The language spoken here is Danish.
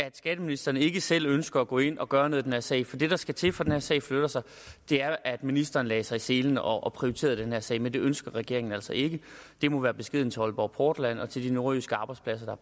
at skatteministeren ikke selv ønsker at gå ind og gøre noget i den her sag for det der skal til for at den her sag flytter sig er at ministeren lægger sig i selen og og prioriterer den her sag men det ønsker regeringen altså ikke det må være beskeden til aalborg portland og til de nordjyske arbejdspladser